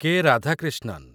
କେ. Radhakrishnan